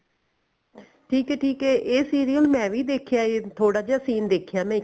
ਠੀਕ ਐ ਠੀਕ ਐ ਇਹ serial ਮੈਂ ਵੀ ਦੇਖਿਆ ਥੋੜਾ ਜਾ scene ਦੇਖਿਆ